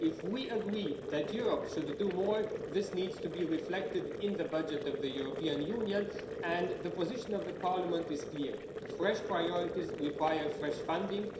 If we agree that Europe should do more, this needs to be reflected in the budget of the European Union, and the position of Parliament is clear fresh priorities require fresh funding.